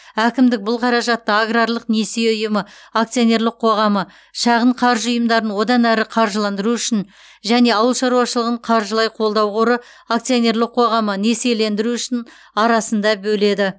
әкімдік бұл қаражатты аграрлық несие ұйымы акционерлік қоғамы шағын қаржы ұйымдарын одан әрі қаржыландыру үшін және ауыл шаруашылығын қаржылай қолдау қоры акционерлік қоғамы несиелендіру үшін арасында бөледі